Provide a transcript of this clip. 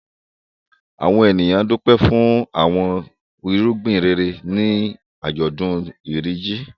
Àwọn ènìyàn dúpẹ́ fún àwọn irúgbìn rere ní àjọ̀dún Iri Ji.